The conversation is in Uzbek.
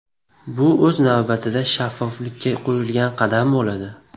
Bu o‘z navbatida shaffoflikka qo‘yilgan qadam bo‘ladi.